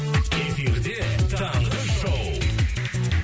эфирде таңғы шоу